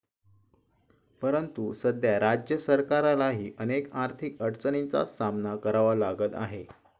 परंतु, सध्या राज्य सरकारलाही अनेक आर्थिक अडचणींचा सामना करावा लागत आहे.